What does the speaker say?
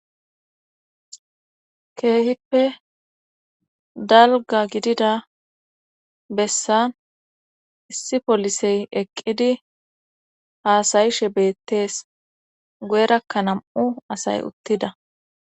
keehippe dalga gidida bessan issi polisey eqqidi haasayishe beettees goyerakka nam7u asay uttida